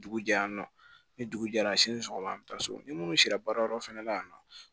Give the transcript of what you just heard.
Dugu jɛya ni dugu jɛra sini sɔgɔma an bɛ taa so ni minnu sera baarayɔrɔ fana la yan nɔ